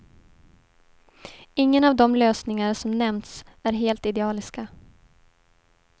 Ingen av de lösningar som nämnts är helt idealiska.